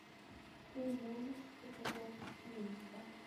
ты можешь показать клиника